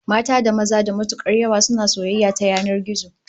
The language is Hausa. Mata da maza da matukar yawa yanzu suna soyayya ta yanan gizo